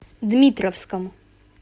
дмитровском